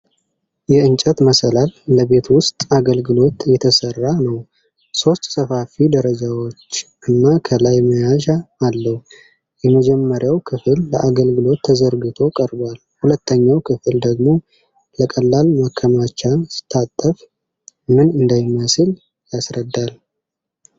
የእንጨት መሰላል ለቤት ውስጥ አገልግሎት የተሰራ ነው። ሶስት ሰፋፊ ደረጃዎች እና ከላይ መያዣ አለው። የመጀመሪያው ክፍል ለአገልግሎት ተዘርግቶ ቀርቧል። ሁለተኛው ክፍል ደግሞ ለቀላል ማከማቻ ሲታጠፍ ምን እንደሚመስል ያስረዳል።